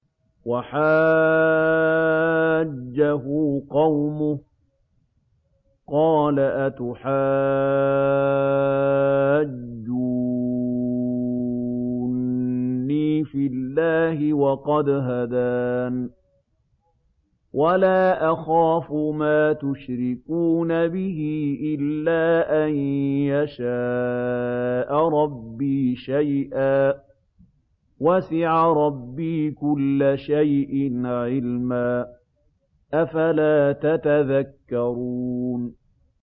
وَحَاجَّهُ قَوْمُهُ ۚ قَالَ أَتُحَاجُّونِّي فِي اللَّهِ وَقَدْ هَدَانِ ۚ وَلَا أَخَافُ مَا تُشْرِكُونَ بِهِ إِلَّا أَن يَشَاءَ رَبِّي شَيْئًا ۗ وَسِعَ رَبِّي كُلَّ شَيْءٍ عِلْمًا ۗ أَفَلَا تَتَذَكَّرُونَ